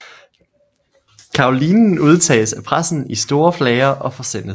Kaolinen udtages af pressen i store flager og forsendes